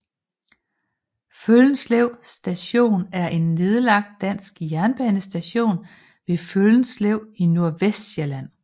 Føllenslev Station er en nedlagt dansk jernbanestation ved Føllenslev i Nordvestsjælland